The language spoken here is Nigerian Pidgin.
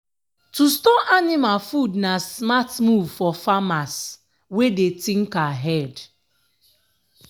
to store anima food na smart move for farmers wey dey think ahead.